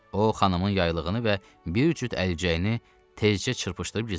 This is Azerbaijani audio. O xanımın yaylığını və bir cüt əlcəyini tezcə çırpışdırıb gizlətdi.